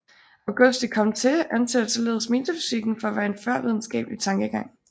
Auguste Comte anser således metafysikken for at være en førvidenskabelig tankegang